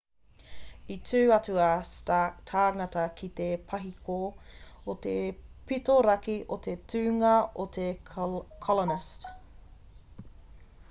i tū atu ā stark tāngata ki te pahiko o te pito raki o te tūnga o te colonist